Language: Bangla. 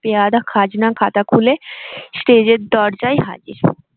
পেয়াদা খাজনার খাতা খুলে stage এর দরজা হাজির।